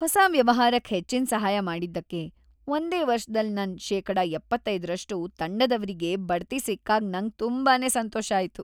ಹೊಸ ವ್ಯವಹಾರಕ್ ಹೆಚ್ಚಿನ್ ಸಹಾಯ ಮಾಡಿದ್ದಕ್ಕೆ ಒಂದೇ ವರ್ಷದಲ್ ನನ್ ಶೇಕಡ ಎಪ್ಪತ್ತೈದು ರಷ್ಟು ತಂಡದವ್ರಿಗೆ ಬಡ್ತಿ ಸಿಕ್ಕಾಗ್ ನಂಗ್ ತುಂಬಾನೇ ಸಂತೋಷ ಆಯ್ತು.